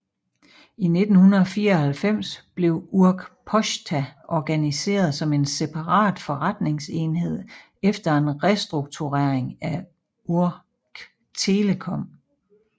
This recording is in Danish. I 1994 blev Ukrposhta organiseret som en separat forretningsenhed efter en restrukturering af Ukrtelecom